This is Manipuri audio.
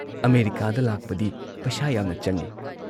ꯑꯃꯦꯔꯤꯀꯥꯗ ꯂꯥꯛꯄꯗꯤ ꯄꯩꯁꯥ ꯌꯥꯝꯅ ꯆꯪꯏ ꯫